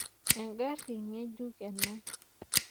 Engari ng'ejuk ena.